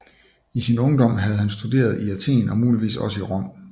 I sin ungdom havde han studeret i Athen og muligvis også i Rom